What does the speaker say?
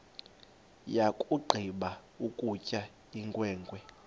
yakugqiba ukutya inkwenkwe